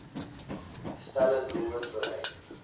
stelle doelwitte bereik